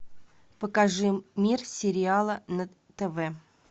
покажи мир сериала на тв